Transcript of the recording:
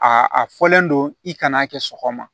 A a fɔlen don i kan'a kɛ sɔgɔma